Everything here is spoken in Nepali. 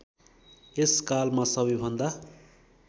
यस कालमा सबैभन्दा